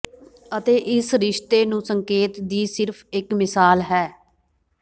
ਅਤੇ ਇਸ ਰਿਸ਼ਤੇ ਨੂੰ ਸੰਕੇਤ ਦੀ ਸਿਰਫ਼ ਇਕ ਮਿਸਾਲ ਹੈ